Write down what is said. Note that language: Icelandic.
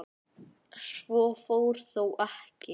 Svo fór þó ekki.